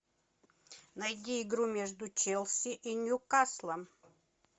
найди игру между челси и ньюкаслом